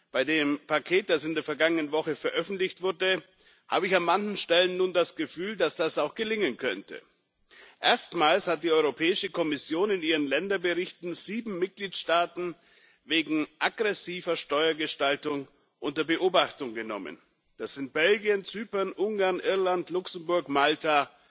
Bei dem Paket, das in der vergangenen Woche veröffentlicht wurde, habe ich an manchen Stellen nun das Gefühl, dass das auch gelingen könnte. Erstmals hat die Europäische Kommission in ihren Länderberichten sieben Mitgliedstaaten wegen aggressiver Steuergestaltung unter Beobachtung genommen das sind Belgien, Zypern, Ungarn, Irland, Luxemburg, Malta